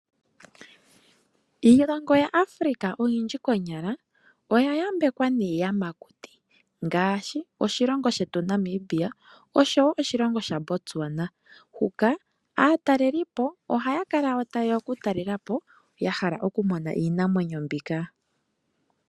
Iilongo ya Africa oyindji konyala oya yambekwa niiyamakuti, ngashi oshilongo shetu Namibia oshowo oshilongo Sha Botswana, huka atalelipo ohaya kala wo tayeya oku talelapo yahala okumona Iinamwenyo mbika.